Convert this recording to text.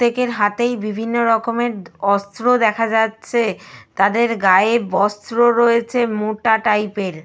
প্রত্যেকের হাতেই বিভিন্ন রকমের অস্ত্র দেখা যাচ্ছে। তাদের গায়ে বস্ত্র রয়েছে মোটা টাইপ -এর।